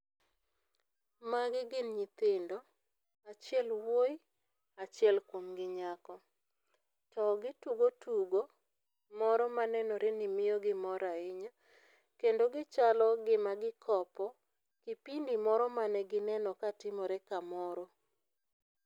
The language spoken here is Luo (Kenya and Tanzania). magi gin nyithindo achiel wuoi achiel kuomgi nyako to gitugo tugo moro manenore ni miyo gi mor ahinya kendo gichalo gima gikopo kipindi moro mane gineno ka timore kamoro.